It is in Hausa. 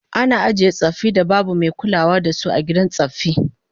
Ana ajiye tsaffin da babu mai kulawa da su a gidan tsaffi